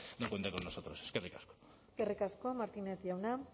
no cuente con nosotros eskerrik asko eskerrik asko martínez jauna